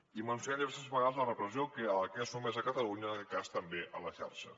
i mencionen diverses vegades la repressió a la que és sotmesa catalunya en aquest cas també a la xarxa